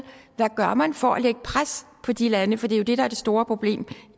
hvad gør man for at lægge pres på de lande for det er jo det der er det store problem